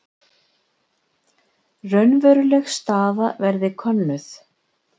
Raunveruleg staða verði könnuð